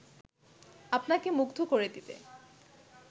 আপনাকে মুগ্ধ করে দিবে